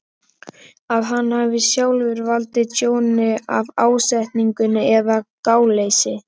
að hann hafi sjálfur valdið tjóni af ásetningi eða gáleysi.